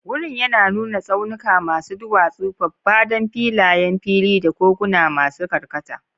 Wurin yana nuna tsaunuka masu duwatsu, faffadan filayen fili, da koguna masu karkata.